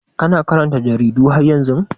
Kana karanta jaridu har yanzu?